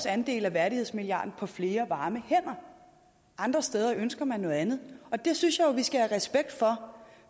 andel af værdighedsmilliarden på flere varme hænder andre steder ønsker man noget andet og det synes jeg vi skal have respekt for